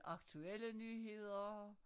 Aktuelle nyheder